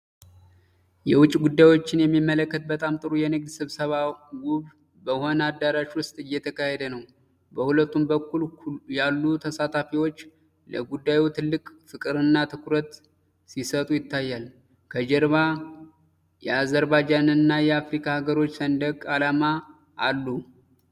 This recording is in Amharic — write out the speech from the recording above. የውጭ ጉዳዮችን የሚመለከት በጣም ጥሩ የንግድ ስብሰባ ውብ በሆነ አዳራሽ ውስጥ እየተካሄደ ነው። በሁለቱም በኩል ያሉ ተሳታፊዎች ለጉዳዩ ትልቅ ፍቅርና ትኩረት ሲሰጡ ይታያል። ከጀርባ የአዘርባጃንና የአፍሪካ አገሮች ሰንደቅ ዓላማ አሉ።